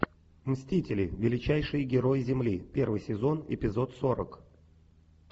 мстители величайшие герои земли первый сезон эпизод сорок